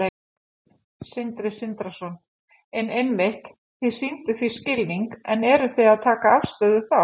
Sindri Sindrason: En einmitt, þið sýnið því skilning en eruð þið að taka afstöðu þá?